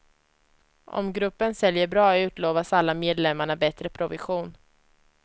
Om gruppen säljer bra utlovas alla medlemmarna bättre provision.